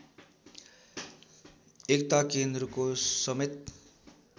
एकता केन्द्रको समेत